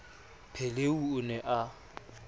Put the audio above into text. pheleu v o ne a